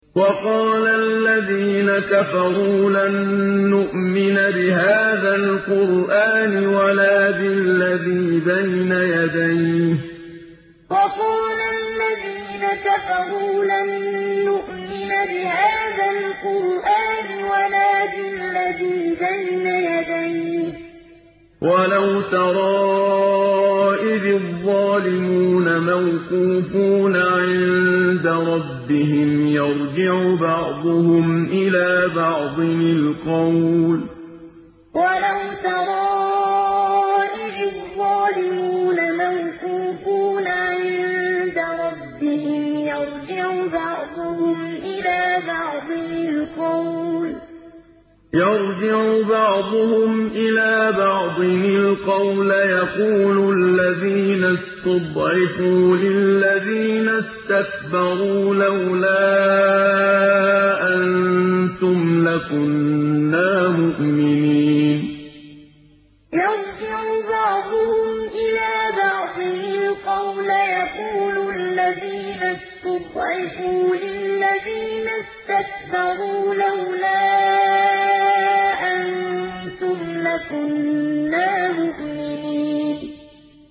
وَقَالَ الَّذِينَ كَفَرُوا لَن نُّؤْمِنَ بِهَٰذَا الْقُرْآنِ وَلَا بِالَّذِي بَيْنَ يَدَيْهِ ۗ وَلَوْ تَرَىٰ إِذِ الظَّالِمُونَ مَوْقُوفُونَ عِندَ رَبِّهِمْ يَرْجِعُ بَعْضُهُمْ إِلَىٰ بَعْضٍ الْقَوْلَ يَقُولُ الَّذِينَ اسْتُضْعِفُوا لِلَّذِينَ اسْتَكْبَرُوا لَوْلَا أَنتُمْ لَكُنَّا مُؤْمِنِينَ وَقَالَ الَّذِينَ كَفَرُوا لَن نُّؤْمِنَ بِهَٰذَا الْقُرْآنِ وَلَا بِالَّذِي بَيْنَ يَدَيْهِ ۗ وَلَوْ تَرَىٰ إِذِ الظَّالِمُونَ مَوْقُوفُونَ عِندَ رَبِّهِمْ يَرْجِعُ بَعْضُهُمْ إِلَىٰ بَعْضٍ الْقَوْلَ يَقُولُ الَّذِينَ اسْتُضْعِفُوا لِلَّذِينَ اسْتَكْبَرُوا لَوْلَا أَنتُمْ لَكُنَّا مُؤْمِنِينَ